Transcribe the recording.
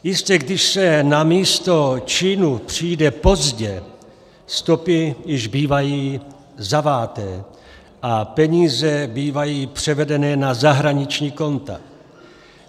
Jistě, když se na místo činu přijde pozdě, stopy již bývají zaváté a peníze bývají převedené na zahraniční konta.